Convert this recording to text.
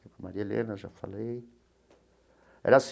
Maria Helena, já falei. Era